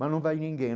Mas não vai ninguém.